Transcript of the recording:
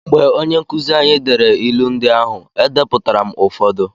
Mgbe onye nkụzi anyị dere ịlụ ndị ahụ, E depụtara m ụfọdụ.